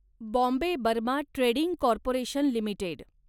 Bombay Burma trading corporation limited